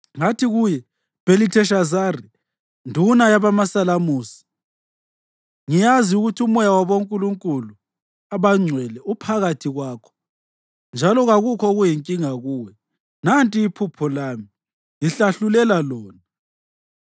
Ngathi kuye, Bhelitheshazari, nduna yabomasalamusi, ngiyazi ukuthi umoya wabonkulunkulu abangcwele uphakathi kwakho, njalo kakukho okuyinkinga kuwe. Nanti iphupho lami; ngihlahlulela lona.